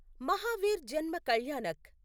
Mahavir Janma Kalyanak